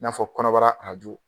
N'a fɔ kɔnɔbara arajo